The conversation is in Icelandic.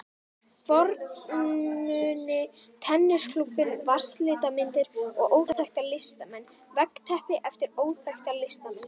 fornmuni, tennisklúbbinn, vatnslitamyndir eftir óþekkta listamenn, veggteppi eftir óþekkta listamenn.